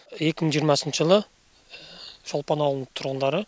екі мың жиырмасыншы жылы шолпан ауылының тұрғындары